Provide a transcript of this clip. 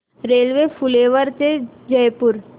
railway Phulera ते जयपूर